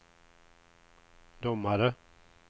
domare